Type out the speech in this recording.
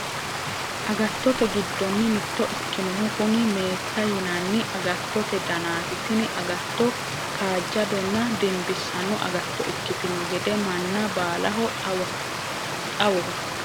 agattote giddonni mitto ikkinohu kuni meeta yinanni agattote danaati. tini agatto kaajjadonna dimbisanno agatto ikkitino gede manna baalaho xawoho .